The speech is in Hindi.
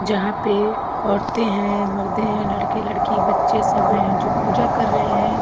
जहां पे औरते हैं मर्दे है लड़के लड़की बच्चे सब हैं जो पूजा कर रहे हैं।